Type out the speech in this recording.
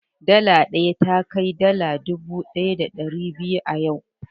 dala ɗaya takai naira dubu ɗaya da ɗari biyu a yau